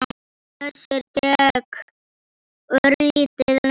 Össur gekk örlítið lengra.